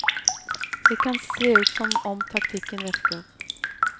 Det kan se ut som om taktikken virker.